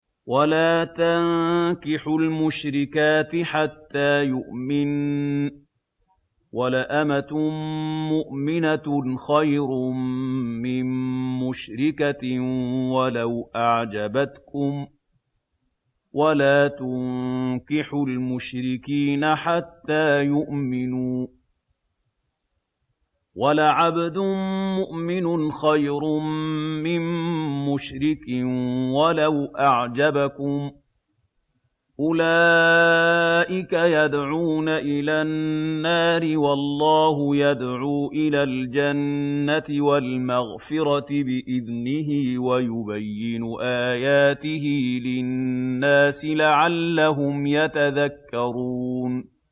وَلَا تَنكِحُوا الْمُشْرِكَاتِ حَتَّىٰ يُؤْمِنَّ ۚ وَلَأَمَةٌ مُّؤْمِنَةٌ خَيْرٌ مِّن مُّشْرِكَةٍ وَلَوْ أَعْجَبَتْكُمْ ۗ وَلَا تُنكِحُوا الْمُشْرِكِينَ حَتَّىٰ يُؤْمِنُوا ۚ وَلَعَبْدٌ مُّؤْمِنٌ خَيْرٌ مِّن مُّشْرِكٍ وَلَوْ أَعْجَبَكُمْ ۗ أُولَٰئِكَ يَدْعُونَ إِلَى النَّارِ ۖ وَاللَّهُ يَدْعُو إِلَى الْجَنَّةِ وَالْمَغْفِرَةِ بِإِذْنِهِ ۖ وَيُبَيِّنُ آيَاتِهِ لِلنَّاسِ لَعَلَّهُمْ يَتَذَكَّرُونَ